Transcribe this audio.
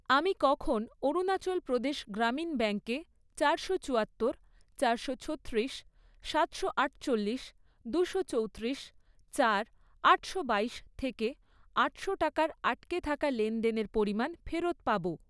আমি কখন অরুণাচল প্রদেশ গ্রামীণ ব্যাঙ্কে চারশো চুয়াত্তর, চারশো ছত্রিশ, সাতশো আটচল্লিশ, দুশো চৌতিরিশ, চার, আটশো বাইশ, থেকে আটশো টাকার আটকে থাকা লেনদেনের পরিমাণ ফেরত পাবো?